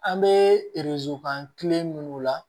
An bɛ minnu la